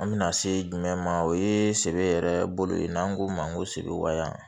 An bɛna se jumɛn ma o ye sɛbɛ yɛrɛ bolo ye n'an k'o ma ko seewa